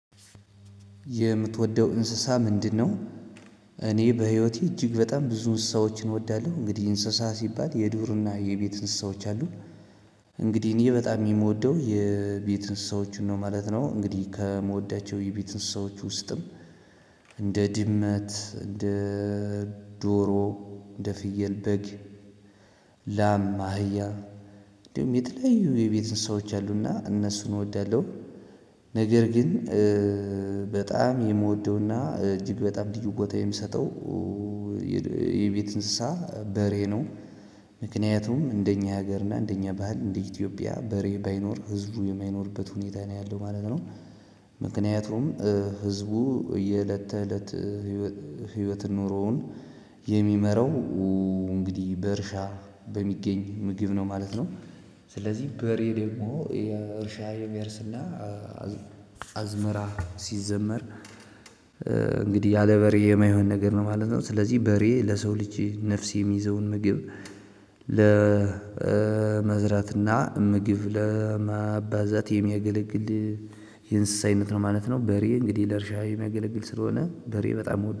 የምትወደው እንስሳ ምንድነው? እኔ በህይወቴ እጅግ በጣም ብዙ እንስሳዎችን እወዳለሁ። እንግዲህ እንስሳ ሲባል የዱርና የቤት እንስሳዎች አሉ። እንግዲህ እኔ በጣም የምወደው የቤት እንስሳዎችን ነው ማለት ነው። እንግዲህ ከምወዳቸው የቤት እንስሳዎች ውስጥም እንደ ድመት እንደ ዶሮ እንደ ፍየል በግ ላም አህያ እንደውም የተለዩ የቤት እንስሳዎች አሉና እነሱን እወዳለሁ። ነገር ግን በጣም የምወደውና እጅግ በጣም ልዩ ቦታ የምሰጠው የቤት እንስሳ በሬ ነው። ምክንያቱም እንደኛ ሀገር እና እንደኛ ባህል እንደ ኢትዮጵያ በሬ ባይኖር ህዝቡ የማይኖርበት ሁኔታ ነው ያለው ማለት ነው። ምክንያቱም ህዝቡ የእለት ተእለት ህይወት ኖሮውን የሚመራው እንግዲህ በእርሻ በሚገኝ ምግብ ነው ማለት ነው። ስለዚህ በሬ ደግሞ የእርሻ የሚያርስና አዝመራ ሲዘመር እንግዲህ ያለ በሬ የማይሆን ነገር ነው ማለት ነው። ስለዚህ በሬ ለሰው ልጄ ነፍስ የሚይዘውን ምግብ ለመዝራትና ምግብ ለማባዛት የሚያገለግል የእንስሳ አይነት ነው ማለት ነው። በሬ እንግዲህ ለእርሻ የሚያገለግል ስለሆነ በሬ በጣም